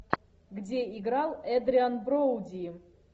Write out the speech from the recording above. где играл эдриан броуди